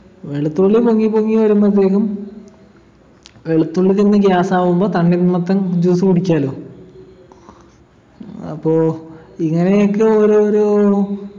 വെളുത്തുള്ളി പൊങ്ങി പൊങ്ങി വരുമ്പൊത്തേക്കും വെളുത്തുള്ളി തിന്ന് gas ആകുമ്പൊ തണ്ണിർമത്തൻ juice കുടിക്കാലോ അപ്പൊ ഇങ്ങനെയൊക്കെ ഓരോരോ